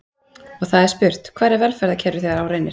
Og það er spurt: Hvar er velferðarkerfið þegar á reynir?